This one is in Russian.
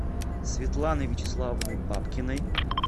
светланой вячеславовной бабкиной